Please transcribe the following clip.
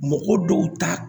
Mɔgɔ dɔw ta